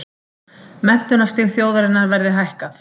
Menntunarstig þjóðarinnar verði hækkað